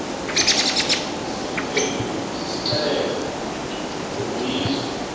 siqendu sisixelela ngoloyiso